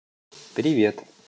привет